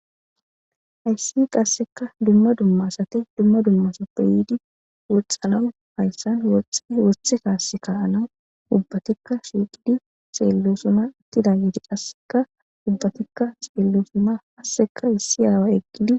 Haysi qaseka dumma dumma asati dumma dumma yidi wocanas haysan woxiza wothe ubatika woxidi xellosona ubatika xellos issi away eqid